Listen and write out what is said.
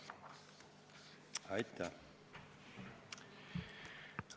Aitäh!